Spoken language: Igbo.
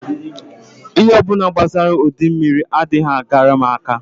Ihe ọ bụla gbasara udummiri anaghị agara m aka